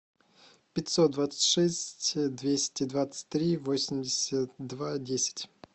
пятьсот двадцать шесть двести двадцать три восемьдесят два десять